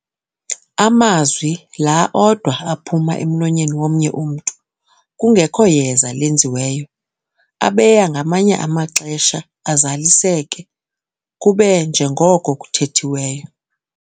Amazwi laa odwa aphuma emlonyeni womnye umntu, kungekho yeza lenziweyo, abeya ngamanye amaxesha azaliseke kube njengoko kuthethiweyo.